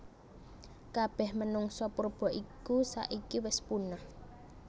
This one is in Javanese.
Kabeh menungsa purba iku saiki wis punah